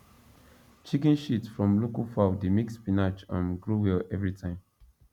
chicken shit from local fowl dey make spinach um grow well every time